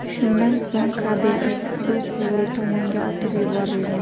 Shundan so‘ng kabel issiq suv quvuri tomonga otib yuborilgan.